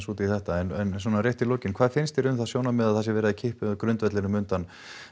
út í þetta en rétt í lokin hvað finnst þér um það sjónarmið að verið sé að kippa grundvellinum undan